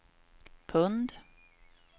pund